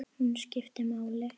Hún skiptir máli.